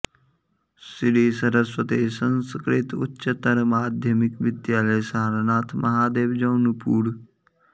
Shri Saraswati Sanskrit Uchchatar Madhyamik Vidyalaya Sarnath Mahadev Jaunpur